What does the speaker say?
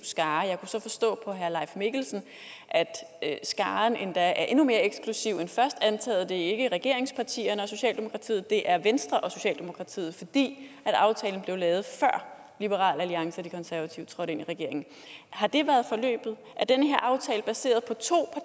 skare jeg kunne så forstå på herre leif mikkelsen at skaren endda er endnu mere eksklusiv end først antaget nemlig at det ikke er regeringspartierne og socialdemokratiet men at det er venstre og socialdemokratiet fordi aftalen blev lavet før liberal alliance og de konservative trådte ind i regeringen har det været forløbet er den her aftale baseret på to